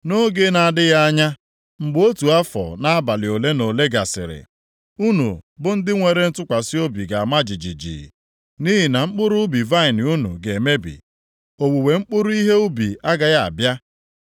Nʼoge na-adịghị anya, mgbe otu afọ na abalị ole na ole gasịrị, unu bụ ndị nwere ntụkwasị obi ga-ama jijiji; nʼihi na mkpụrụ ubi vaịnị unu ga-emebi, owuwe mkpụrụ ihe ubi agaghị abịa.